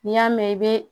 N'i y'a mɛn i bɛ